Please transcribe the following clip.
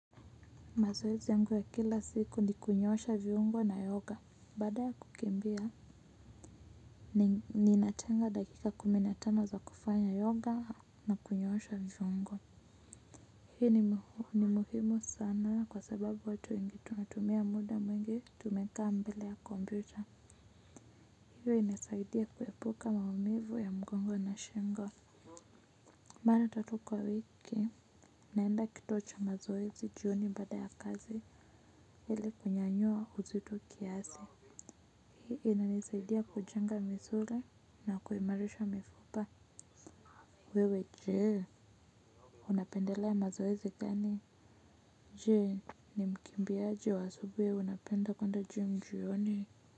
Mazeozi yangu ya kila siku ni kunyosha viungo na yoga. Baada ya kukimbia, ninaachanga dakika kumi na tano za kufanya yoga na kunyosha viungo. Hii ni muhimu sana kwa sababu watu wengi tunatumia muda mwingi tumekaa mbele ya computer. Hiyo inasaidia kuepuka maumivu ya mgongo na shingo. Mara tatu kwa wiki, naenda kituo cha mazoezi jioni bada ya kazi ili kunyanyua uzito kiasi. Inanisaidia kujenga misuli na kuimarisha mifupa. Wewe je, unapendelea mazoezi gani? Je, ni ukimbiaji wa asubuhi unapenda kwenda je jioni.